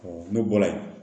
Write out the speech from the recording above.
ne bɔra yen